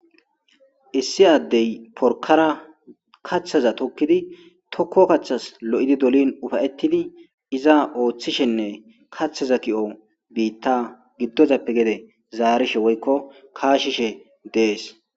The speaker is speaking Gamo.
issi addey porkara kaththaza tokkidi tokko kaththas lo7idi dolin ufayettidi iza ooththishenne kaththaza ki7o biitta giddozappe gede zaarishe woykko kaashishe dees